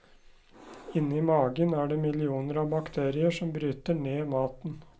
Inni magen er det millioner av bakterier som bryter ned maten.